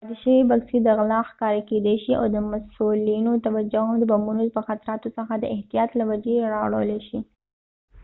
پاتې شوي بکسې د غلا ښکار کیدای شي او د مسؤلینو توجه هم د بمونو د خطراتو څخه د احتیاط له وجې را اړولې شي